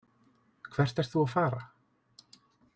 Hvert ert þú að fara?